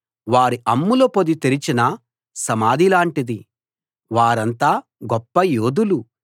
వారి అమ్ముల పొది తెరచిన సమాధిలాంటిది వారంతా గొప్ప యోధులు